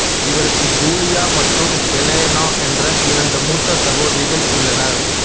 இவருக்கு ஜூலியா மற்றும் எலெனா என்ற இரண்டு மூத்த சகோதரிகள் உள்ளனர்